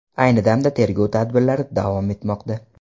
Ayni damda tergov tadbirlari davom etmoqda.